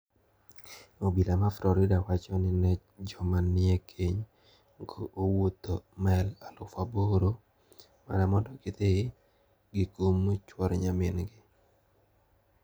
Obila ma Florida wacho ni ne joma nie keny go owuotho mael aluf aboro mana mondo gidhi gikum chuor nyamingi.